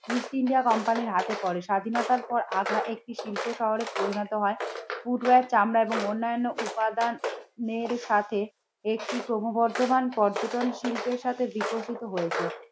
East India কোম্পানির হাতে পড়ে। স্বাধীনতার পর আগ্রা একটি শিল্প শহরে পরিণত হয় ফুট ওয়ার চামড়া এবং অন্নান্য উপাদান এর সাথে একটি ক্রমবর্ধমান পর্যটন শিল্পের সাথে বিকশিত হয়েছে।